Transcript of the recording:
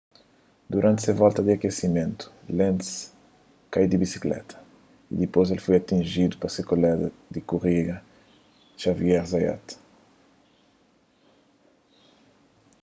duranti se volta di akesimentu lenz kai di bisikleta y dipôs el foi atinjidu pa se kolega di korida xavier zayat